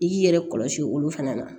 I k'i yɛrɛ kɔlɔsi olu fana na